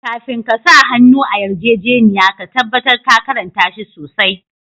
Kafin ka sa hannu a yarjejeniya ka tabatar ka karnta shi sosai.